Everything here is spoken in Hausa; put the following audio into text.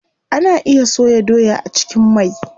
Ana iya soya doya a cikin mai.